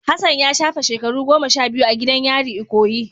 Hassan ya shafe shekaru goma sha biyu a gidan yari ikoyi.